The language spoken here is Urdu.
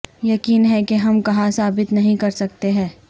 یقین ہے کہ ہم کہاں ثابت نہیں کرسکتے ہیں